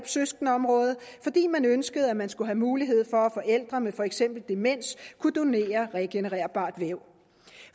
søskendeområdet fordi man ønskede at man skulle have mulighed for at forældre med for eksempel demens kunne donere regenererbart væv